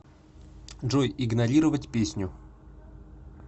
джой игнорировать песню